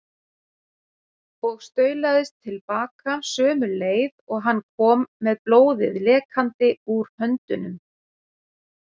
Og staulaðist til baka sömu leið og hann kom með blóðið lekandi úr höndunum.